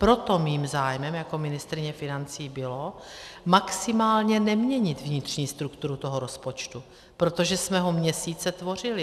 Proto mým zájmem jako ministryně financí bylo maximálně neměnit vnitřní strukturu toho rozpočtu, protože jsme ho měsíce tvořili.